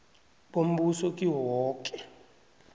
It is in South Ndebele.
bombuso kiwo woke